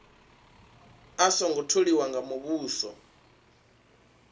a songo tholiwa nga muvhuso